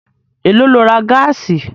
Èló lo ra gáàsì?